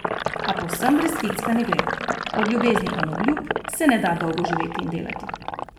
A povsem brez ficka ne gre, od ljubezni in obljub se ne da dolgo živeti in delati.